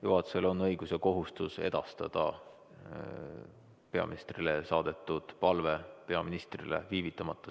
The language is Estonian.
Juhatusel on õigus ja kohustus edastada peaministrile saadetud palve peaministrile viivitamata.